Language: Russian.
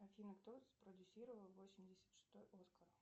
афина кто спродюсировал восемьдесят шестой оскар